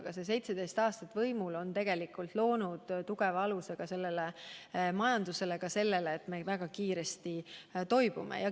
Aga selle 17 aasta jooksul, kui me võimul olime, on tegelikult loodud tugev alus meie majandusele, ka sellele, et me väga kiiresti toibume.